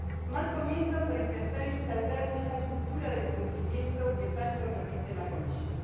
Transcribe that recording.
Mal comienzo para intentar instaurar esa cultura del cumplimiento que tanto repite la Comisión.